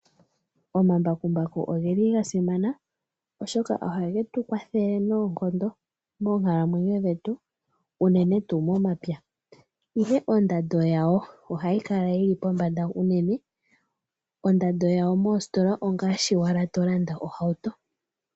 Omambakumbaku oge li ga simana , oshoka oha ge tu kwathele noonkondo moonkalamwenyo dhetu uunene tuu momapya. Ihe ondando yago oha yi kala yili pombanda uunene, ondando ya go moositola ongaashi owala to landa ohauto.